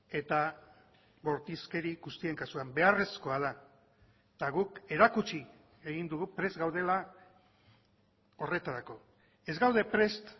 eta bortizkeri guztien kasuan beharrezkoa da eta guk erakutsi egin dugu prest gaudela horretarako ez gaude prest